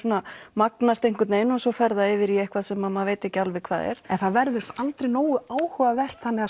magnast einhvern veginn og svo fer það yfir í eitthvað sem maður veit ekki alveg hvað er en það verður aldrei nógu áhugavert þannig að